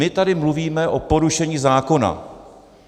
My tady mluvíme o porušení zákona.